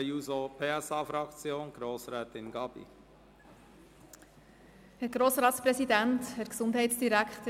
Für die SP-JUSO-PSA-Fraktion hat nun Grossrätin Gabi das Wort.